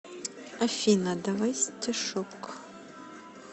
афина давай стишок